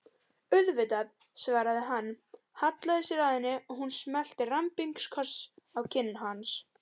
Auðvitað, svaraði hann, hallaði sér að henni og hún smellti rembingskossi á kinn hans.